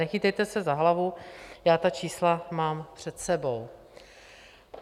Nechytejte se za hlavu, já ta čísla mám před sebou.